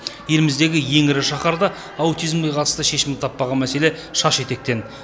еліміздегі ең ірі шаһарда аутизмге қатысты шешімін таппаған мәселе шаш етектен